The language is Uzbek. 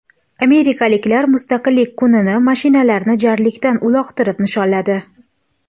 Amerikaliklar Mustaqillik kunini mashinalarni jarlikdan uloqtirib nishonladi .